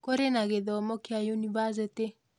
Kũrĩ na gĩthomo kĩa yunivasĩtĩ